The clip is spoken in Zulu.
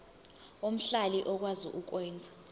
omhlali okwazi ukwenza